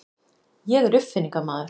Ég er uppfinningamaður.